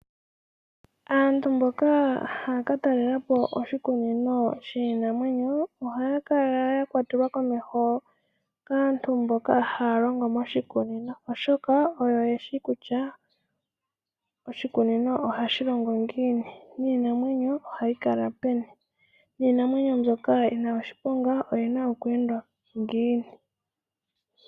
Aantu mboka ha ya ka talelapo oshikunino shiinamwenyo, ohaya kala ya kwatelwa komeho kaantu mboka haa longo moshikunino, oshoka oyo ye shi kusha oshikunino ohashi longo ngiini, niinamwenyo ohayi kala peni, niinamwenyo mbyoka yina oshiponga oyina okweendwa ngiini.